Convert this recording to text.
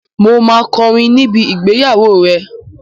Mo máa kọrin níbi ìgbéyàwó rẹ.